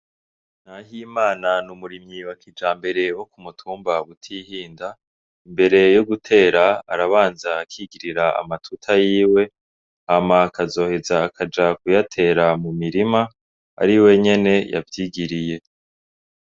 Nahimana n'umurimyi wa kijambere wo ku mutumba butihinda, mbere yo gutera arabanza akigirira amatuta yiwe hama akazoheza akaja kuyatera mu mirima ari we nyene yavyigiriye.